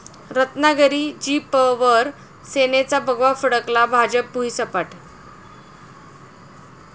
रत्नागिरी जि.प.वर सेनेचा भगवा फडकला, भाजप भुईसपाट